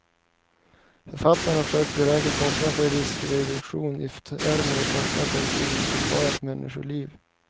Författarna har försökt beräkna kostnaden för riskreduktion i termer av kostnad per inbesparat människoliv.